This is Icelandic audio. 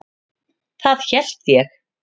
Það hélt ég.